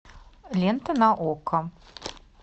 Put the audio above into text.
лента на окко